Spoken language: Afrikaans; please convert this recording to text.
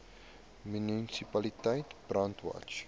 munisipaliteit brandwatch